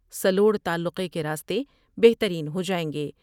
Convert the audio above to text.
سلوڑ تعلقے کے راستے بہترین ہو جائیں گے ۔